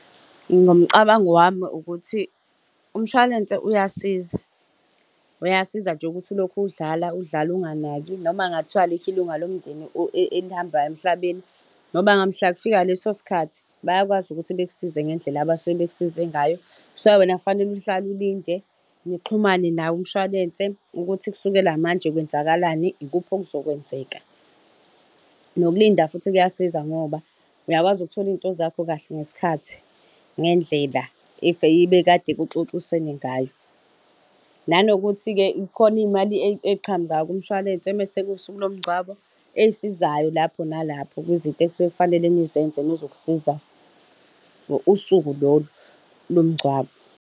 Ngomcabango wami ukuthi, umshwalense uyasiza, uyasiza nje ukuthi ulokhu udlala, udlala unganaki, noma kungathiwa alikho ilunga lomndeni elihambayo emhlabeni. Noma ngamhla kufika leso sikhathi, bayakwazi ukuthi bekusize ngendlela abasuke bekusize ngayo. So wena fanele uhlale ulinde, nixhumane nawo umshwalense ukuthi kusukela manje kwenzakalani, ikuphi okuzokwenzeka. Nokulinda futhi kuyasiza ngoba uyakwazi ukuthola izinto zakho kahle ngesikhathi ngendlela ebekade kuxoxisenwe ngayo. Nanokuthi-ke khona iy'mali ey'qhamukayo kumshwalense mese kuwusuku lomngcwabo ey'sizayo lapho nalapho kwizinto okufanele nizenze nezokusiza usuku lolo lomgcwabo.